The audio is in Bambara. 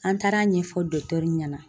An taara ɲɛfɔ ɲɛna